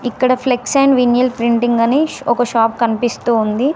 ఇక్కడ flex and vinyl printing అని ఒక షాప్ కనిపిస్తూ ఉంది.